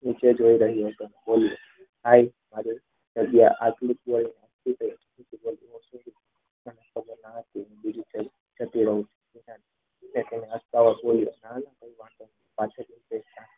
નીચે જોઈ રહ્યો હતો